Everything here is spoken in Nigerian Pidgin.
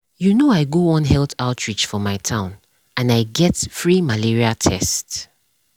you know i go one health outreach for my town and i get free malaria test.